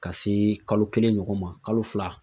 Ka se kalo kelen ɲɔgɔn ma kalo fila